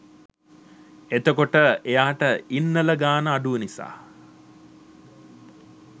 එතකොට එයාට ඉන්නල ගාණ අඩු නිසා